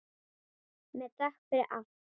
Með þökk fyrir allt.